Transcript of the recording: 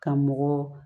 Ka mɔgɔ